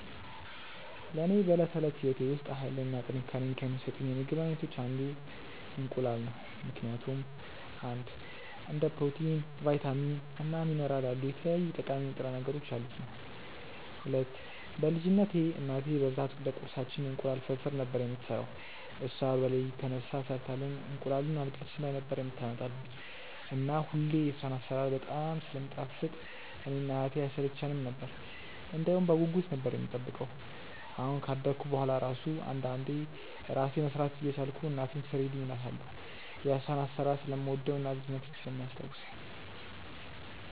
ለኔ በዕለት ተዕለት ሕይወቴ ውስጥ ኃይልን እና ጥንካሬን ከሚሰጡኝ የምግብ አይነቶች አንዱ እንቁላል ነው ምክንያቱም፦ 1. እንደ ፕሮቲን፣ ቫይታሚን እና ሚኒራል ያሉ የተለያዩ ጠቃሚ ንጥረ ነገሮች ያሉት ነዉ። 2. በ ልጅነትቴ እናቴ በብዛት ለቁርሳችን እንቁላል ፍርፍር ነበር የምትሰራው እሷ በለሊት ተነስታ ሰርታልን እንቁላሉን አልጋችን ላይ ነበር የምታመጣልን እና ሁሌ የሷ አሰራር በጣም ስለሚጣፍጥ እኔ እና እህቴ አይሰለቸነም ነበር እንደውም በጉጉት ነበር የምንጠብቀው አሁን ካደኩ በሁዋላ እራሱ አንዳንዴ እራሴ መስራት እየቻልኩ እናቴን ስሪልኝ እላታለው የሷን አሰራር ስለምወደው እና ልጅነቴን ስለሚያስታውሰኝ።